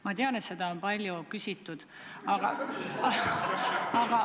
Ma tean, et seda on palju küsitud.